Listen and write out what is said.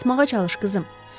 Yatmağa çalış, qızım.